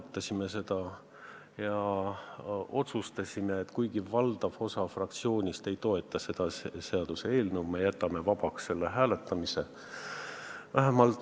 Me arutasime seda ja otsustasime, et kuigi valdav osa fraktsioonist ei toeta seda seaduseelnõu, me jätame hääletamise vabaks.